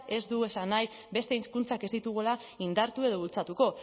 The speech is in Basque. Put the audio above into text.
ez du esan nahi beste hizkuntzak ez ditugula indartu edo bultzatuko